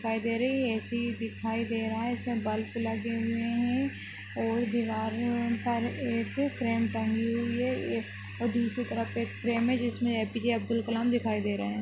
दिखाई दे रही है ए_सी दिखाई दे रहा है इसमे बल्फ लगे हुए है और दीवार मे उपर एक फ्रेम टंगी हुई है एक और बीच की तरफ एक फ्रेम है जिसमे ए_पी_जे अब्दुल कलाम दिखाई दे रहे है।